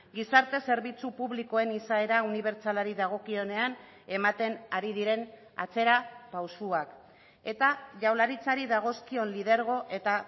gizarte zerbitzu publikoen izaera unibertsalari dagokionean ematen ari diren atzera pausuak eta jaurlaritzari dagozkion lidergo eta